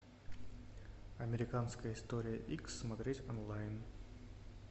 американская история икс смотреть онлайн